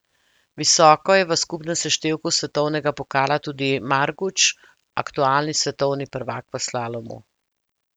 Visoko je v skupnem seštevku svetovnega pokala tudi Marguč, aktualni svetovni prvak v slalomu.